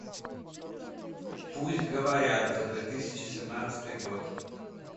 пусть говорят за две тысячи семнадцатый год